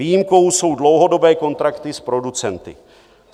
Výjimkou jsou dlouhodobé kontrakty s producenty.